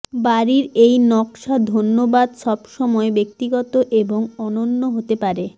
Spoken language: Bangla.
বাড়ির এই নকশা ধন্যবাদ সবসময় ব্যক্তিগত এবং অনন্য হতে পারে